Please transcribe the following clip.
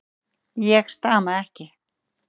Ég stama ekki.